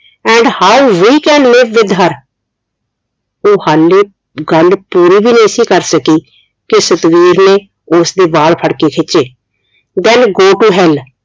and how we can live with her ਉਹ ਹਲੇ ਗੱਲ ਪੂਰੀ ਵੀ ਨਹੀਂ ਸੀ ਕਰ ਸਕੀ ਕਿ ਸਤਵੀਰ ਨੇ ਉਸਦੇ ਵਾਲ ਫੜ ਕੇ ਖਿਚੇ then go to hell